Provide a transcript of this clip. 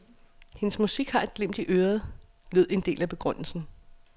Hendes musik har et glimt i øret, lød en del af begrundelsen.